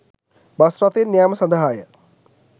bus රථයෙන් යැම සඳහාය